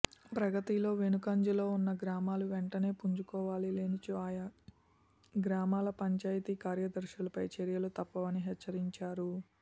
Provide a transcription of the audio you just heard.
ప్రగతిలో వెనుకంజలో ఉన్న గ్రామాలు వెంటనే పుంజుకోవాలని లేనిచో ఆయా గ్రామాల పంచాయతీ కార్యదర్శులపై చర్యలు తప్పవని హెచ్చరించారు